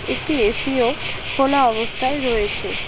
একটি এসিও খোলা অবস্থায় রয়েছে।